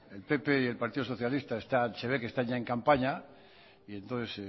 el pp y el partido socialista está hb que está en campaña y entonces